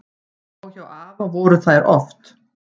Og hjá afa voru þær oft.